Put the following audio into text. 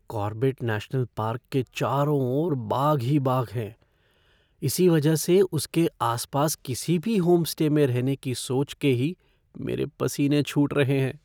Corbett national park के चारों ओर बाघ ही बाघ हैं। इसी वजह से उसके आसपास किसी भी होमस्टे में रहने की सोच के ही मेरे पसीने छूट रहे हैं।